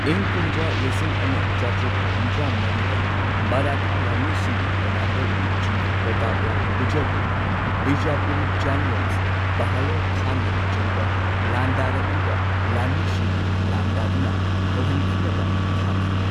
ꯏꯪ ꯀꯨꯝꯖꯥ ꯂꯤꯁꯤꯡ ꯑꯃ ꯆꯥꯇ꯭ꯔꯨꯛ ꯍꯨꯝꯗ꯭ꯔꯥ ꯃꯔꯤꯗ ꯃꯔꯥꯊꯥ ꯂꯥꯟꯃꯤꯁꯤꯡꯒꯤ ꯀꯃꯥꯟꯗꯔ ꯏꯟ ꯆꯤꯐ ꯄ꯭ꯔꯇꯥꯞꯔꯥꯎ ꯒꯨꯖꯔꯕꯨ ꯕꯤꯖꯥꯄꯨꯔꯤ ꯖꯦꯅꯔꯦꯜ ꯕꯍꯂꯣꯜ ꯈꯥꯟꯅ ꯂꯨꯆꯤꯡꯕ ꯂꯥꯟꯗꯔꯛꯏꯕ ꯂꯥꯟꯃꯤꯁꯤꯡꯕꯨ ꯂꯥꯟꯗꯥꯗꯨꯅ ꯍꯜꯍꯟꯈꯤꯅꯕ ꯊꯥꯈꯤ꯫